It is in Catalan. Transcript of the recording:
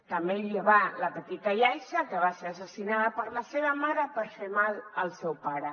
també hi ha la petita yaiza que va ser assassinada per la seva mare per fer mal al seu pare